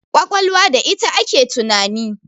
ƙwaƙwalwa da ita ake tunani